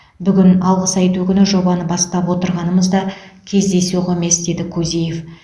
бүгін алғыс айту күні жобаны бастап отырғанымыз да кездейсоқ емес деді кузиев